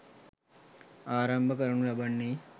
ආරම්භ කරනු ලබන්නේ